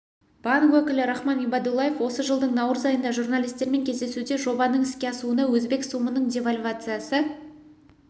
банк өкілі рахман ибадуллаев осы жылдың наурыз айында журналистермен кездесуде жобаның іске асуына өзбек сумының девальвациясы